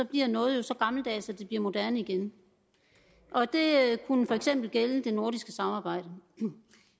bliver noget så gammeldags at det bliver moderne igen det kunne for eksempel gælde det nordiske samarbejde